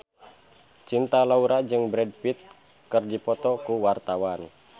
Cinta Laura jeung Brad Pitt keur dipoto ku wartawan